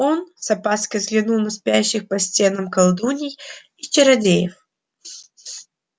он с опаской взглянул на спящих по стенам колдуний и чародеев